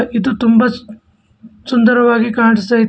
ಇದು ತುಂಬ ಸುನ್ ಸುಂದರವಾಗಿ ಕಾಣ್ಸ್ಟೈ--